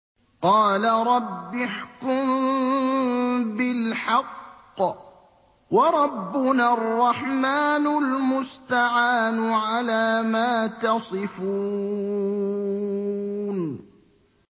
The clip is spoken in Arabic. قَالَ رَبِّ احْكُم بِالْحَقِّ ۗ وَرَبُّنَا الرَّحْمَٰنُ الْمُسْتَعَانُ عَلَىٰ مَا تَصِفُونَ